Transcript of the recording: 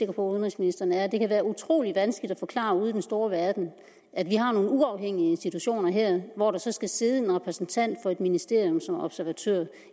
at udenrigsministeren er at det kan være utrolig vanskeligt at forklare ude i den store verden at vi har nogle uafhængige institutioner her hvor der så skal sidde en repræsentant for et ministerium som observatør